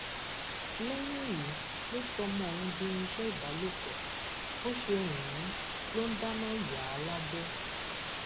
lẹyìn èyí ló sọ ọmọ ọhún di irinṣẹ ìbálòpọ bó ṣe wù ú ló ń dáná yà á lábẹ